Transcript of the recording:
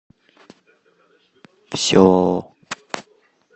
все